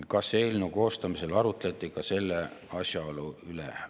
Kas eelnõu koostamisel arutleti ka selle asjaolu üle?